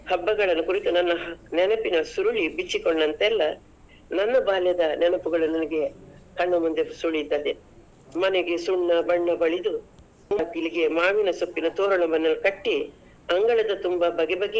ಹಬ್ಬಗಳನ್ನು ಕುರಿತು ನನ್ನ ನೆನಪಿನ ಸುರುಳಿ ಬಿಚ್ಚಿಕೊಂಡಂತೆಲ್ಲ, ನನ್ನ ಬಾಲ್ಯದ ನೆನಪುಗಳನ್ನು ನನಗೆ ಕಣ್ಣಮುಂದೆ ಸುಳಿಯುತ್ತದೆ. ಮನೆಗೆ ಸುಣ್ಣ ಬಣ್ಣ ಬಳಿದು, ಬಾಗಿಲಿಗೆ ಮಾವಿನ ಸುತ್ತಿನ ತೋರಣವನ್ನ ಕಟ್ಟಿ ಅಂಗಳದ ತುಂಬಾ ಬಗೆ ಬಗೆಯ.